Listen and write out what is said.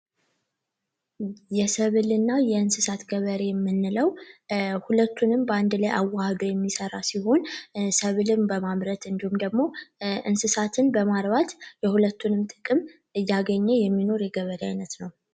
የሰብል እና የእንሰሳት ገበሬ የምንለው ሁለቱንም በአንድ ላይ አዋህዶ የሚሰራ ሲሆን ሰብልን በማምረት እንዲሁም ደግሞ እንስሳትን በማርባት የሁለቱን ጥቅም እያገኘ የሚኖር የገበሬ አይነት ነው።